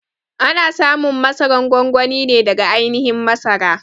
A na samun masaran gwangwani ne daga ainihin masara.